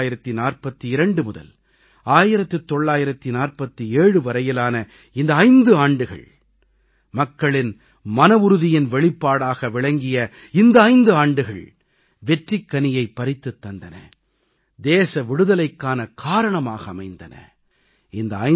1942 முதல் 1947 வரையிலான இந்த 5 ஆண்டுகள் மக்களின் மனவுறுதியின் வெளிப்பாடாக விளங்கிய இந்த 5 ஆண்டுகள் வெற்றிக்கனியைப் பறித்துத் தந்தன தேச விடுதலைக்கான காரணமாக அமைந்தன